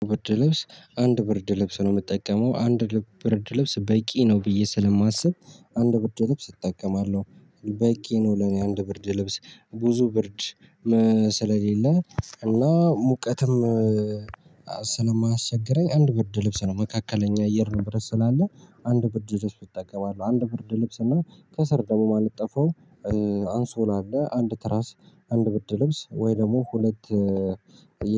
ብርድ ልብስ አንድ ብርድ ልብስ ነው የምጠቀመው አንድ ብርድ ልብስ በቂ ነው ብዬ ስለማስብ አንድ ብርድ ልብስ እጠቀማለሁ በቂ ነው ለኔ አንድ ብርድ ልብስ ብዙ ብርድ ስለሌለ እና ሙቀትም ስለማያስቸግረኝ አንድ ብርድ ልብስ ነው መካከለኛ አየር ንብረት ስላለ አንድ ብርድ ልብስ እጠቀማለሁ። አንድ ብርድ ልብስ እና ከስር ደግሞ ማነጥፈው አንሶላ አለ አንድ ትራስ አንድ ብርድ ልብስ ወይ ደግሞ ሁለት